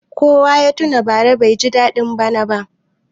Kowa ya tuna bara baiji daɗin bana ba.